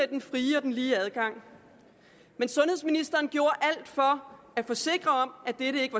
den frie og lige adgang men sundhedsministeren gjorde alt for at forsikre om at dette ikke